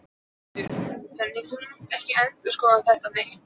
Þórhildur: Þannig að þú munt ekki endurskoða það neitt?